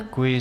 Děkuji.